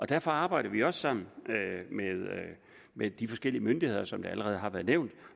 derfor arbejder vi også sammen med med de forskellige myndigheder som det allerede har været nævnt